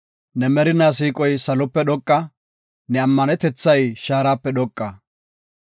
Ne merinaa siiqoy salope dhoqa; ne ammanetethay shaarape dhoqa.